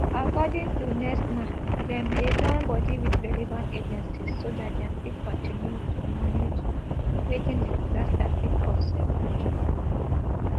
according to nsema dem dey join body wit relevant agencies so dat dem fit continue to manage wetin di disaster fit cause in future